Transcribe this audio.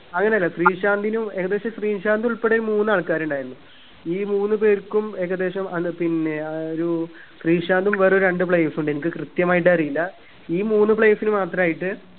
അങ്ങനല്ല ശ്രീശാന്തിനും ഏകദേശം ശ്രീശാന്ത് ഉൾപ്പെടെ മൂന്ന് അല്കാറുണ്ടായിരുന്നു ഈ മൂന്ന്പേർക്കും ഏകദേശം അല്ല പിന്നെ ആ ഒരു ശ്രീശാന്തും വേറെ രണ്ട് players ഊണ്ട് എനിക്ക് കൃത്യമായിട്ട് അറിയില്ല ഈ മൂന്ന് players ന് മാത്രായിട്ട്